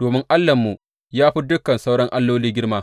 domin Allahnmu ya fi dukan sauran alloli girma.